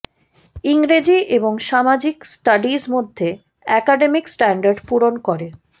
ইংরেজি এবং সামাজিক স্টাডিজ মধ্যে একাডেমিক স্ট্যান্ডার্ড পূরণ করে